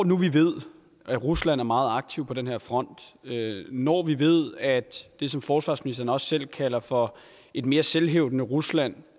nu vi ved at rusland er meget aktiv på den her front når vi ved at det som forsvarsministeren også selv kalder for et mere selvhævdende rusland